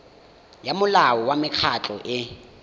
ya molao wa mekgatlho e